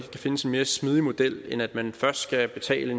kan findes en mere smidig model end at man først skal betale